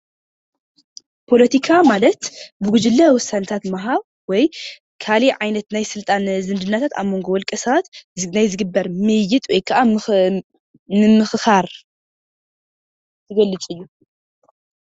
ፖሎቲካ ማለት ብጉጅለ ዉሳነታትዝዋሃብ ወይ ካሊእ ዓይነት ናይ ስልጣን ዝምድናታት ኣብ ሞንጎ ዉልቀሳባት ናይ ዝግበር ምይይጥ ወይ ከዓ ምምክካር ዝገልፅ እዩ፡፡